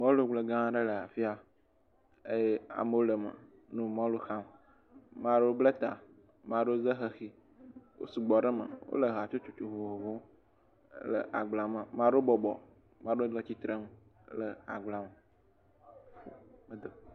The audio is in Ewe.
Mɔlugble gã aɖe le afi ya eye amewo le eme le mɔlu xam, maɖewo bla ta maɖewo za xexi wo sugbɔ ɖe eme, wole hatsotso vovovowo me le agblea me maɖewo bɔbɔ maɖewo le tsitre le agblea me, mede o.